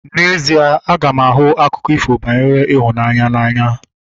N'ezie, aga m ahụ akụkọ ifo banyere ịhụnanya n'anya